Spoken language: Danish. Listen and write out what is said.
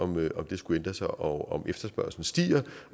med om det skulle ændre sig og om efterspørgslen stiger